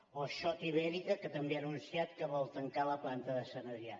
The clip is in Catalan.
o schott ibérica que també ha anunciat que vol tancar la planta de sant adrià